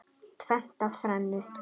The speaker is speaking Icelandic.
Tvennt af þrennu.